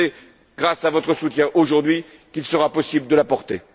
l'Europe. Je sais que, grâce à votre soutien aujourd'hui, il sera possible de la